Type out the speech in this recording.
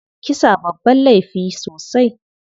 Kisa babban laifi sosai.